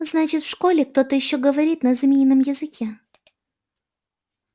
значит в школе кто-то ещё говорит на змеином языке